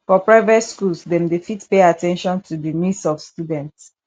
for private schools dem dey fit pay at ten tion to di needs of student